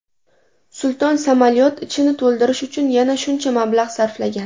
Sulton samolyot ichini to‘ldirish uchun yana shuncha mablag‘ sarflagan.